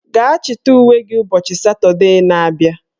Gaa chịta uwe gị ụbọchị Satọdee na abịa